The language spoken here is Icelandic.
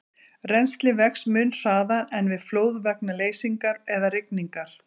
Rennslið vex mun hraðar en við flóð vegna leysingar eða rigningar.